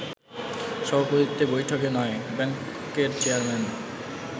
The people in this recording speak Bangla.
সভাপতিত্বে বৈঠকে নয় ব্যাংকের চেয়ারম্যান